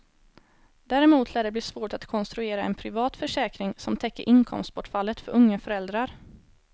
Däremot lär det bli svårt att konstruera en privat försäkring som täcker inkomstbortfallet för unga föräldrar.